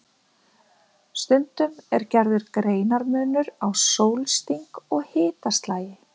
Stundum er gerður greinarmunur á sólsting og hitaslagi.